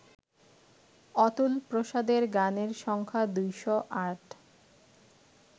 অতুলপ্রসাদের গানের সংখ্যা ২০৮